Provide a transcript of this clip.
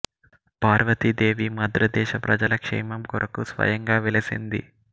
పార్వతీ దేవి మద్రదేశ ప్రజల క్షేమం కొరకు స్వయంగా వెలసింది